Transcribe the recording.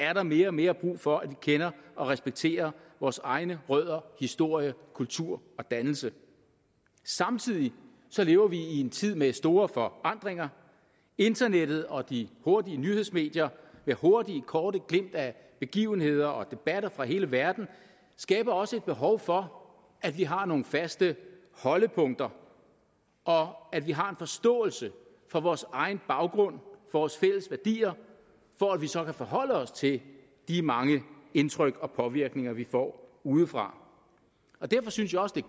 er der mere og mere brug for at vi kender og respekterer vores egne rødder historie kultur og dannelse samtidig lever vi i en tid med store forandringer internettet og de hurtige nyhedsmedier med hurtige korte glimt af begivenheder og debatter fra hele verden skaber også et behov for at vi har nogle faste holdepunkter og at vi har en forståelse for vores egen baggrund vores fælles værdier for at vi så kan forholde os til de mange indtryk og påvirkninger vi får udefra derfor synes jeg også det